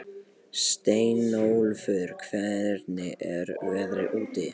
Steinólfur, hvernig er veðrið úti?